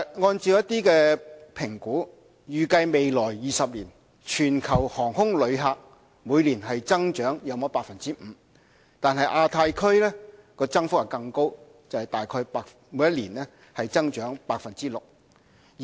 按照評估，預計未來20年，全球航空旅客每年增長約 5%， 亞太區增幅更高，大概每年增長 6%。